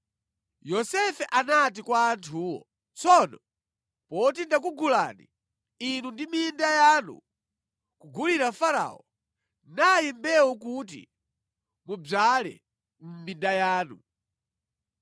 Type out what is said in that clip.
Yosefe anati kwa anthuwo, “Tsono poti ndakugulani inu ndi minda yanu, kugulira Farao. Nayi mbewu kuti mudzale mʼminda yanu.